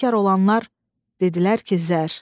Tamahkar olanlar dedilər ki, zər.